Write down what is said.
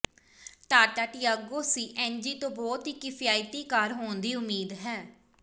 Tata Tiago C N G ਤੋਂ ਬਹੁਤ ਹੀ ਕਿਫਾਇਤੀ ਕਾਰ ਹੋਣ ਦੀ ਉਮੀਦ ਹੈ